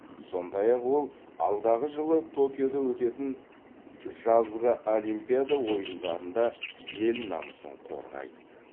сондай ақ ол алдағы жылы токиода өтетін жазғы олимпиада ойындарында ел намысын қорғайды